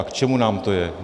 A k čemu nám to je?